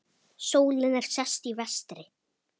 Sólin er sest, í vestri.